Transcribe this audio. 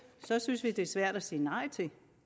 synes vi det er svært at sige nej til